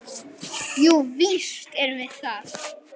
Jú, víst erum við það.